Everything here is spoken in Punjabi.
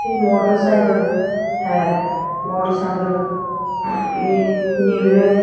ਤੇ ਮੋਟਰਸਾਈਕਲ ਹੈ ਮੋਟਰਸਾਈਕਲ ਇਹ ਨੀਲੇ --